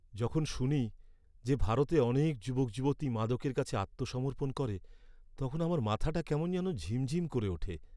যখন শুনি যে ভারতে অনেক যুবক যুবতী মাদকের কাছে আত্মসমর্পণ করে তখন আমার মাথাটা কেমন যেন ঝিম ঝিম করে ওঠে!